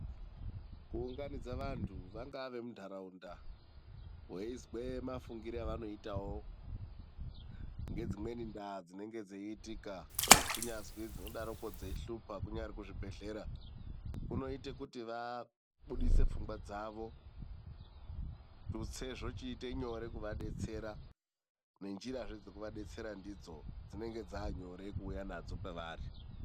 Kuunganidza vandu vangava vemundaraunda weizwe mafungiro avanoita ngedzimweni ndaa dzinenge dzeitika kunyazi dzinenge dzeishupa kunyari kuzvibhedhlera kunoita vabuditse pfungwa dzavo. Tutse zvochiita nyore kuva detsera ngenzira dzekuvadetsera nadzo dzinenge dzanyore kuuya nadzo kwavari.